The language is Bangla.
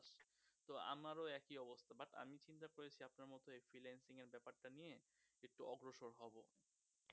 তো আমারও একি অবস্থা, but আমি চিন্তা করেছি আপনার মত এই freelancing এর ব্যাপার টা নিয়ে একটু অগ্রসর হব।